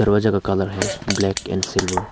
दो जगह कलर है ब्लैक एंड सिल्वर ।